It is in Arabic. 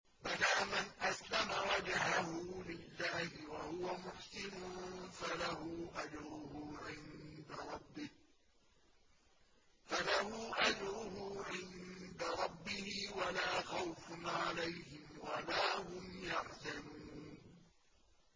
بَلَىٰ مَنْ أَسْلَمَ وَجْهَهُ لِلَّهِ وَهُوَ مُحْسِنٌ فَلَهُ أَجْرُهُ عِندَ رَبِّهِ وَلَا خَوْفٌ عَلَيْهِمْ وَلَا هُمْ يَحْزَنُونَ